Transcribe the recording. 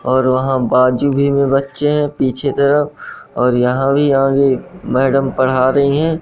और वहां बाजू में भी बच्चे है पीछे तरफ और यहां भी आगे मैडम पढा रही हैं।